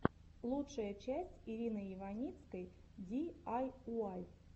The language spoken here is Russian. лучшая часть ирины иваницкой ди ай уай